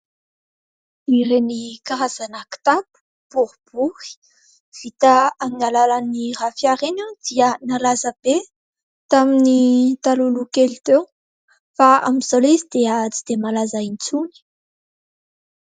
Ireny karazana kitapo boribory vita amin'ny alalan'ny rafia ireny dia nalaza be tamin'ny talohaloha kely teo, fa amin'izao ilay izy dia tsy dia malaza intsony.